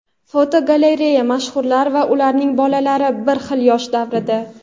Fotogalereya: Mashhurlar va ularning bolalari bir xil yosh davrida.